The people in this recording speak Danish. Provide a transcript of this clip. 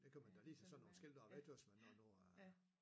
Det kan man da lige tage sådan nogle skilte og væk også nå man nu øh